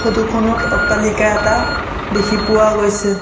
Photo খনত অট্টালিকা এটা দেখি পোৱা গৈছে।